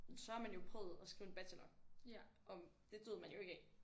Så har man jo prøvet at skrive en bachelor og det døde man jo ikke af